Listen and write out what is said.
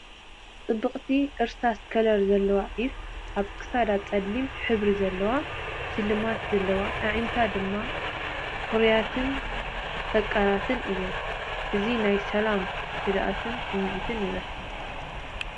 ጽብቕቲ እርሳስ ከለር ዘለዋ ዒፍ፣ ኣብ ክሳዳ ጸሊም ሕብሪ ዘለዎ ሽልማት ዘለዎ፣ ኣዒንታ ድማ ፉሩያትን ፈቃራትን እየን። እዚ ናይ ሰላምን ህድኣትን ስምዒት ይህበካ።